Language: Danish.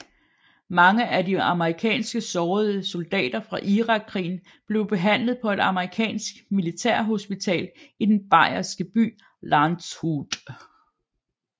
Mange af de amerikanske sårede soldater fra Irakkrigen blev behandlet på et amerikansk militærhospital i den bayerske by Landshut